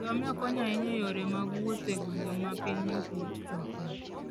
Ngamia konyo ahinya e yore mag wuoth e gwenge ma piny ok yot chopoe.